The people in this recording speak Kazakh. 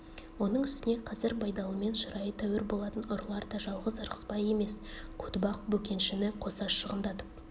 оның үстіне қазір байдалымен шырайы тәуір болатын ұрылар да жалғыз ырғызбай емес көтібақ бөкеншіні қоса шығындатып